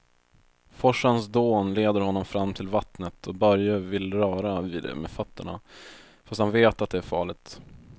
Forsens dån leder honom fram till vattnet och Börje vill röra vid det med fötterna, fast han vet att det är farligt.